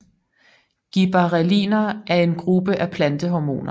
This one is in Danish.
Gibberrelliner er en gruppe af plantehormoner